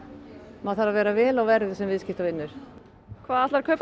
maður þarf að vera vel á verði sem viðskiptavinur hvað ætlarðu að kaupa